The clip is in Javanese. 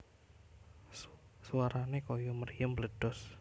Swarané kaya mriyem mbledhos